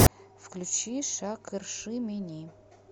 включи шакыршы мени